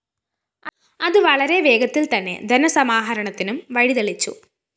അത് വളരെ വേഗത്തില്‍തന്നെ ധനസമാഹരണത്തിനും വഴിതെളിച്ചു